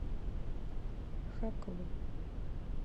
хакова